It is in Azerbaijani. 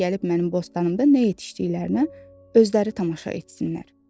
qoy onlar gəlib mənim bostanımda nə yetişdiyini özləri tamaşa etsinlər.